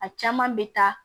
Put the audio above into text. A caman bɛ taa